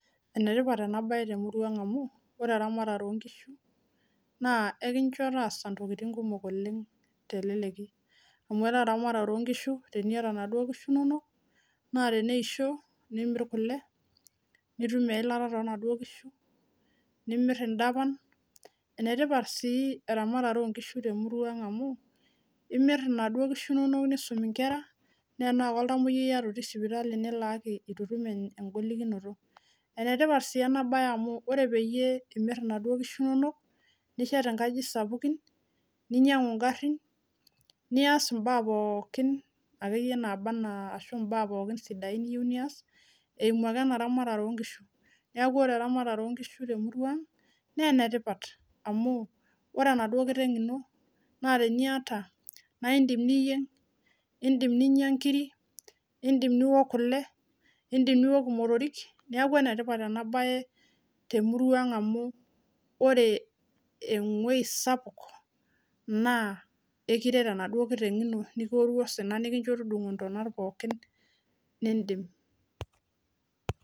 Enetipata oleng ena bae tenkop ang amu ore eramatare oo ngishu naa enkishuo taasa intokitin kumok oleng teleleki amu kore ramatare ooh ngishu teniata naduoo nkushu inonok naa teneisho nimirr kule, nitum eilata toonaduoo nkishu, nimirr idapan, enetipat sii eramatare oo nkishu te murua ang amu imirr naduoo nkishu nisumie nkera naa enaa oltamwoyiai iyata te sipitali nilaaki etu itum engolikinoto, enetipat sii ena bae amu ore peyie imirr naduoo nkishu inonok nishet inkajijik sapukin ninyangu igarrin niasbimbaa pookin sidain niyieu niaas neeku ore eramatare oo nkishu teniyiu naa enetipat amu ore enaduoo nkishu teniata naidim niyieng, nidim ninya inkirri, Indim niook kule, nidim niook imotorrik neeku enetipat ena bae temuruaa ang oleng amu ore enguess sapuk ekiret enaduoo kiteng ino nikiworru osina nikusho tudungo tona pookin nidim .